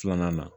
Filanan na